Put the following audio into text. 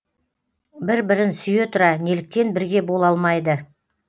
бір бірін сүйе тұра неліктен бірге бола алмайды